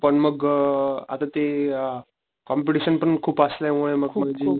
पण मग अ आता ते अ, कॉम्पेटिशन पण खूप असल्या मुळे मग देऊ